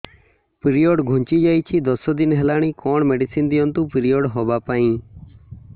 period ଘୁଞ୍ଚି ଯାଇଛି ଦଶ ଦିନ ହେଲାଣି କଅଣ ମେଡିସିନ ଦିଅନ୍ତୁ ପିରିଅଡ଼ ହଵା ପାଈଁ